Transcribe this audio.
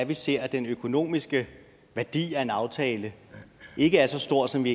vi ser at den økonomiske værdi af en aftale ikke er så stor som vi